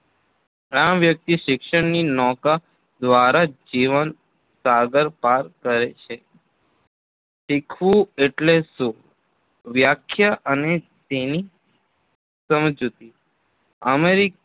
આમ, વ્યક્તિ શિક્ષણની નૌકા દ્વારા જ જીવન સાગર પાર કરે છે. શીખવું એટલે શું વ્યાખ્યા અને તેની સમજૂતી અમેરિકન